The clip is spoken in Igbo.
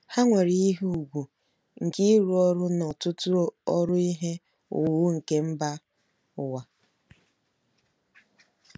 Ha nwere ihe ùgwù nke ịrụ ọrụ n'ọtụtụ ọrụ ihe owuwu nke mba ụwa.